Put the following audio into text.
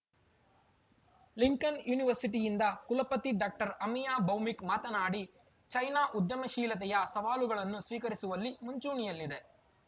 Lincoln ಯೂನಿವರ್ಸಿಟಿಯದ ಕುಲಪತಿ doctor Amiya Bhowmik ಮಾತನಾಡಿ ಚೈನಾ ಉದ್ಯಮಶೀಲತೆಯ ಸವಾಲುಗಳನ್ನು ಸ್ವೀಕರಿಸುವಲ್ಲಿ ಮುಂಚೂಣಿಯಲ್ಲಿದೆ